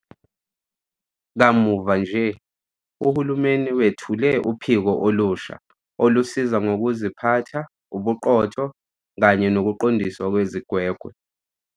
Kamuva-nje, uhulumeni wethule uPhiko olusha Olusiza Ngokuziphatha, Ubuqotho kanye Nokuqondiswa Kwezigwegwe.